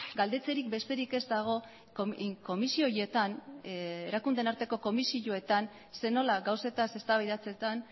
galdetzerik besterik ez dago komisio horietan erakundeen arteko komisioetan zer nola gauzetaz eztabaidatzetan